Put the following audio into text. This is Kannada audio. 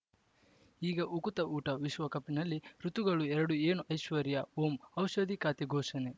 ಈಗ ಉಕುತ ಊಟ ವಿಶ್ವಕಪ್‌ನಲ್ಲಿ ಋತುಗಳು ಎರಡು ಏನು ಐಶ್ವರ್ಯಾ ಓಂ ಔಷಧಿ ಖಾತೆ ಘೋಷಣೆ